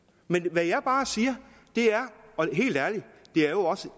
hvad jeg bare siger og helt ærligt